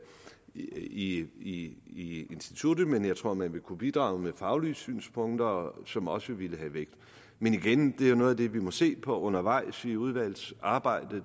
i instituttet men jeg tror at man ville kunne bidrage med faglige synspunkter som også ville have vægt men igen det er jo noget af det vi må se på undervejs i udvalgsarbejdet